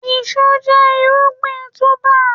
Iṣu jẹ́ irúgbìn túbà.